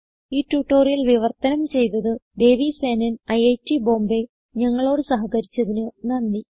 ഈ ട്യൂട്ടോറിയൽ വിവർത്തനം ചെയ്തത് ദേവി സേനൻ ഐറ്റ് ബോംബേ ഞങ്ങളോട് സഹകരിച്ചതിന് നന്ദി